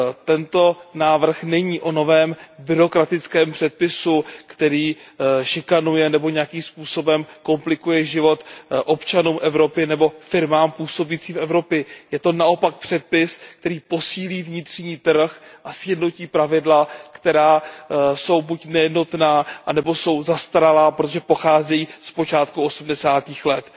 Tento návrh není o novém byrokratickém předpisu, který šikanuje nebo nějakým způsobem komplikuje život občanům Evropy nebo firmám působícím v Evropě. Je to naopak předpis, který posílí vnitřní trh a sjednotí pravidla, která jsou buď nejednotná nebo jsou zastaralá, protože pocházejí z počátku osmdesátých let.